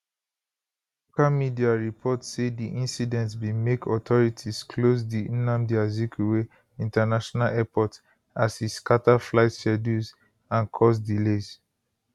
local media report say di incident bin make authorities close di nnamdi azikiwe international airport as e scata flight schedules and cause delays